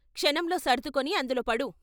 క్షణంలో సర్దుకొని అందులో పడు.